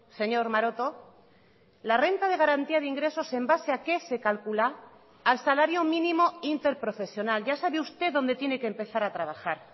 señor maroto la renta de garantía de ingresos en base a qué se calcula al salario mínimo interprofesional ya sabe usted dónde tiene que empezar a trabajar